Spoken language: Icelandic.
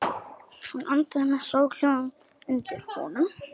Hún andaði með soghljóðum undir honum.